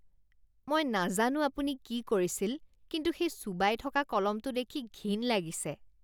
মই নাজানো আপুনি কি কৰিছিল কিন্তু সেই চোবাই থকা কলমটো দেখি ঘিণ লাগিছে।